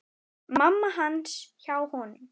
Mamma hans hjá honum.